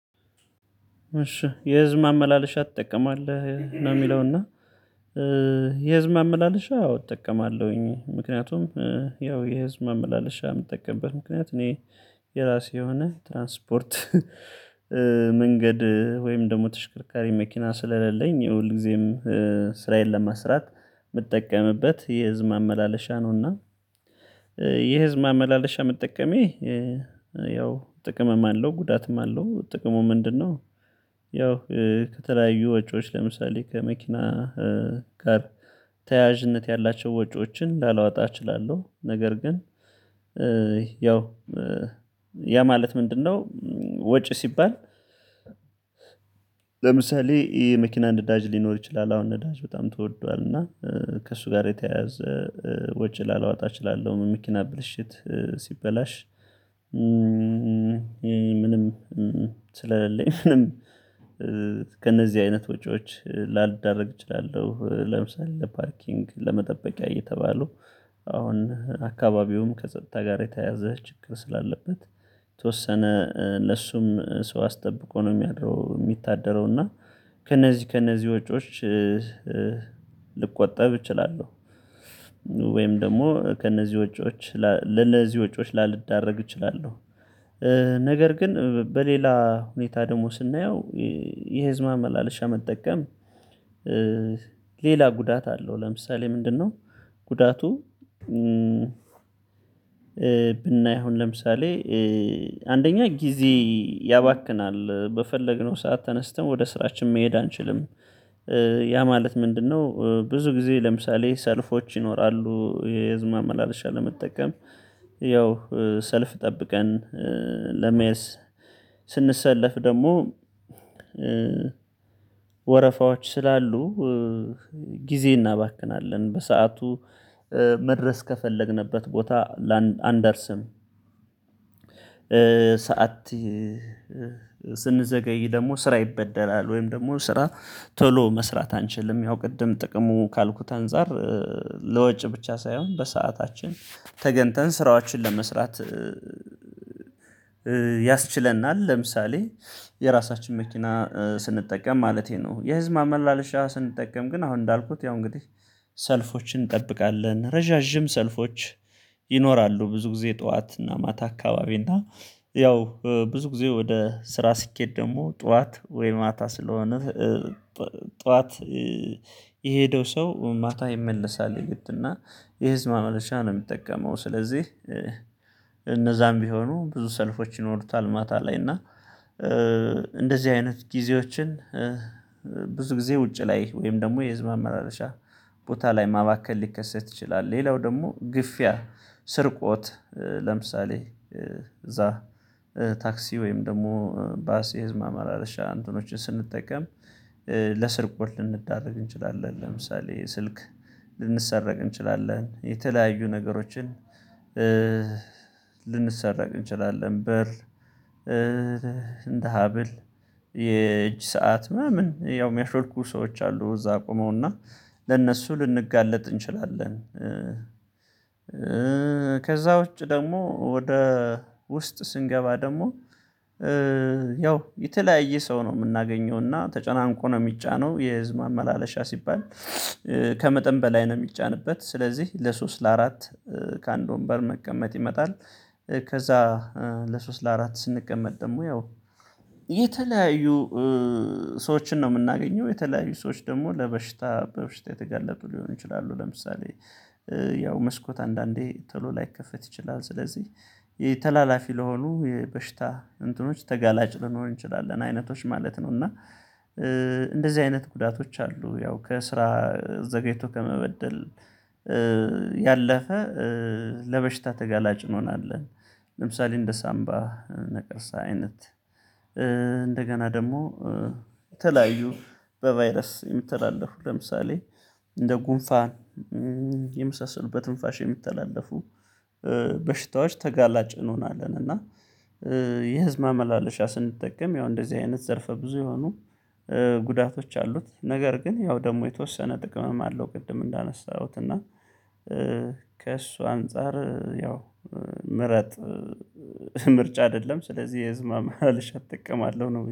እሺ የህዝብ ማመላለሻ ትጠቀማለህ? ነው የሚለውና የህዝብ ማመላለሻ አዎ እጠቀማለሁኝ ምክንያቱም ያው የህዝብ ማመላለሻ የምጠቀምበት ምክንያት እኔ የራሴ የሆነ ትራንስፖርት መንገድ ወይም ደግሞ ተሽከርካሪ መኪና ስለሌለኝ ሁል ጊዜም ስራዬን ለመስራት የምትጠቀምበት የህዝብ ማመላለሻ ነውና የህዝብ ማመላለሻ መጠቀሜ ያው ጥቅምም አለው ጉዳትም አለው ጥቅሙ ምንድነው ያው ከተለያዩ ወጪዎች ለምሳሌ ከመኪና ጋር ተያያዥነት ያላቸው ወጪዎችን ላላወጣ እችላለሁ ነገር ግን ያው ያ ማለት ምንድነው ወጪ ሲባል ለምሳሌ ይሄ መኪና ነዳጅ ሊኖር ይችላል አሁን አዳጅ በጣም ተወዷል እና ከእሱ ጋር የተያያዘ ወጪ ላላወጣ እችላለሁ መኪና ብልሽት ሲበላሽ ምንም ስለሌለኝ ምንም ከእነዚህ አይነት ወጪዎች ላልዳረግ እችላለሁ ለምሳሌ ለፓርኪንግ ለመጠበቂያ እየተባሉ አሁን አካባቢውም ከጸጥታ ጋር የተያያዘ ችግር ስላለበት የተወሰነ ለሱም ሰው አስጠብቆ ነው የሚድረው የሚታደረው እና ከእነዚህ ከእነዚህ ወጪዎች ልቆጠብ እችላለሁ ወይም ደግሞ ከእነዚህ ወጪዎች ለነዚህ ወጪዎች ላልደረግ እችላለሁ። ነገር ግን በሌላ ሁኔታ ደግሞ ስናየው የህዝብ መላልሻ መጠቀም ሌላ ጉዳት አለው ለምሳሌ ምንድነው ጉዳቱ ብናይ አሁን ለምሳሌ አንደኛ ጊዜ ያባክናል በፈለግነው ሰዓት ተነስተን ወደ ስራችን መሄድ አንችልም ያ ማለት ምንድነው ብዙ ጊዜ ለምሳሌ ሰልፎች ይኖራሉ የህዝብ ማመላለሻ ለመጠቀም ያው ሰልፍ ጠብቀን ለመያዝ ስንሰለፍ ደግሞ ወረፋዎች ስላሉ ጊዜ እናባክናለን በሰአቱ መድረስ ከፈለግንበት ቦታ ላን አንደርስም። ሰዓት ስንዘገይ ደግሞ ስራ ይበደላል ወይም ደግሞ ስራ ቶሎ መስራት አንችልም ያው ቅድም ጥቅሙ ካልኩት አንፃር ለወጭ ብቻ ሳይሆን በሰአታችን ተገንተን ስራዎችን ለመስራት ያስችለናል ለምሳሌ የራሳችን መኪና ስንጠቀም ማለቴ ነው። የህዝብ አመላለሻ ስንጠቀም ግን አሁን እንዳልኩት ያው እንግዲህ ሰልፎችን እንጠብቃለን ረዣዥም ሰልፎች ይኖራሉ ብዙ ጊዜ ጠዋት እና ማታ አካባቢ እና ያው ብዙ ጊዜ ወደ ስራ ስኬድ ደግሞ ጠዋት ወይ ማታ ስለሆነ ጠዋት የሄደው ሰው ማታ ይመለሳል የግድና የህዝብ ማመልሻ ነው የሚጠቀመው ስለዚህ እነዛም ቢሆኑ ብዙ ሰልፎች ይኖሩታል ማታ ላይ እና እንደዚህ አይነት ጊዜዎችን ብዙ ጊዜ ውጪ ላይ ወይም ደግሞ የህዝብ ማመላለሻ ቦታ ላይ ማባከል ሊከሰት ይችላል። ሌላው ደግሞ ግፊያ፣ ስርቆት፣ ለምሳሌ እዛ ታክሲ ወይም ደግሞ ባስ የህዝብ አማራለሻ እንተኖችን ስንጠቀም ለስርቆት ልንዳረግ እንችላለን ለምሳሌ ስልክ ልንሰረቅ እንችላለን የተለያዩ ነገሮችን ልንሰረቅ እንችላለን ብር፣ እንደ ሀብል፣ የእጅ ሰዓት ምናምን ያው የሚያሾልኩ ሰዎች አሉ እዛ ቆመውና ለእነሱ ልንጋለጥ እንችላለን። ከዛ ውጪ ደግሞ ወደ ውስጥ ስንገባ ደግሞ ያው የተለያየ ሰው ነው የምናገኘውና ተጨናንቆ ነው የሚጫነው የህዝብ አመላለሻ ሲባል ከመጠን በላይ ነው የሚጫንበት ስለዚህ ለሶስት ለአራት ከአንድ ወንበር መቀመጥ ይመጣል ከዛ ለሶስት ለአራት ስንቀመጥ ደግሞ ያው የተለያዩ ሰዎችን ነው የምናገኘው የተለያዩ ሰዎች ደግሞ ለበሽታ በበሽታ የተገለጡ ሊሆን ይችላሉ ለምሳሌ ያው መስኮት አንዳንዴ ቶሎ ላይከፈት ይችላል ስለዚህ ተላላፊ ለሆኑ የበሽታ እንትኖች ተጋላጭ ልንሆን እንችላለን አይነቶች ማለት ነው እና እንደዚህ አይነት ጉዳቶች አሉ ያው ከስራ ዘገይቶ ከመበደል ያለፈ ለበሽታ ተጋላጭ እንሆናለን ለምሳሌ እንደ ሳምባ ነቀርሳ አይነት እንደገና ደግሞ ተለያዩ በቫይረስ የሚተላለፉ ለምሳሌ እንደ ጉንፋን የመሳሰሉ በትንፋሽ የሚተላለፉ በሽታዎች ተጋላጭ እንሆናለን እና የህዝብ ማመላለሻ ስንጠቀም ያው እንደዚህ አይነት ዘርፈ ብዙ የሆኑ ጉዳቶች አሉት ነገር ግን ያው ደግሞ የተወሰነ ጥቅምም አለው ቅድም እንዳነሳሁት እና ከእሱ አንፃር ያው ምረጥ ምርጫ አይደለም ስለዚህ የህዝብ ማመላለሻ እጥቀማለሁ ነው።